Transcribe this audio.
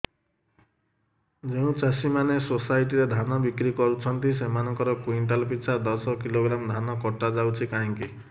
ଯେଉଁ ଚାଷୀ ମାନେ ସୋସାଇଟି ରେ ଧାନ ବିକ୍ରି କରୁଛନ୍ତି ସେମାନଙ୍କର କୁଇଣ୍ଟାଲ ପିଛା ଦଶ କିଲୋଗ୍ରାମ ଧାନ କଟା ଯାଉଛି କାହିଁକି